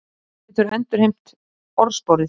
Ísland getur endurheimt orðsporið